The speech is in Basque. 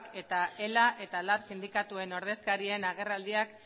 eta ela eta lab sindikatuen ordezkarien agerraldiak